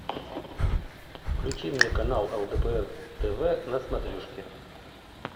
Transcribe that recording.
включи мне канал лдпр тв на смотрешке